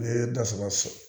Ne ye da saba